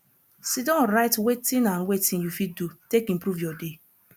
sidon write wetin and wetin yu fit do take improve yur day